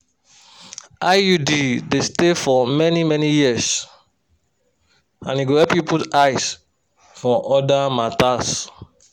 iud dey stay for many-many years and e go help you put eyes for other matters.